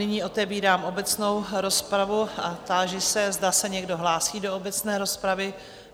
Nyní otevírám obecnou rozpravu a táži se, zda se někdo hlásí do obecné rozpravy.